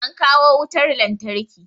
An kawo wutar lantarki